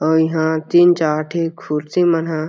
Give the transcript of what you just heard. अउ इंहा तीन चार ठी कुर्सी मन ह --